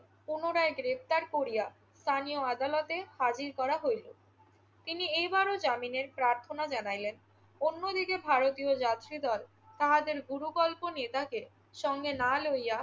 পুনরায় গ্রেফতার করিয়া স্থানীয় আদালতে হাজির করা হইল। তিনি এইবারও জামিনের প্রার্থনা জানাইলেন। অন্যদিকে ভারতীয় যাত্রীদল তাহাদের গুরুকল্প নেতাকে সঙ্গে না লইয়া